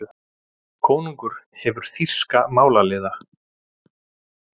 Konungur hefur þýska málaliða.